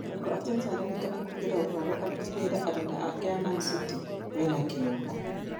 Mikel Arteta arerĩkana kuugĩra ũhoro arũti wĩra aruna ake a Man-City wena kĩroko